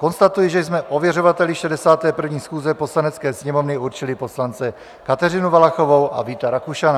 Konstatuji, že jsme ověřovateli 61. schůze Poslanecké sněmovny určili poslance Kateřinu Valachovou a Víta Rakušana.